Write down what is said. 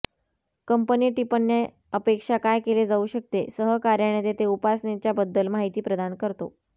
company टिप्पण्या अपेक्षा काय केले जाऊ शकते सहकार्याने तेथे उपासनेच्या बद्दल माहिती प्रदान करतो